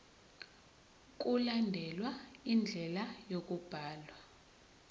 mkulandelwe indlela yokubhalwa